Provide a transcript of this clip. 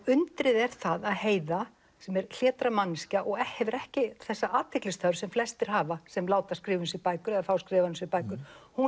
undrið er það að Heiða sem er hlédræg manneskja og hefur ekki þessa athyglisþörf sem flestir hafa sem láta skrifa um sig bækur eða fá skrifaðar um sig bækur